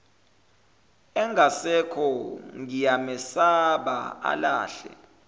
engasekho ngiyamesaba alahle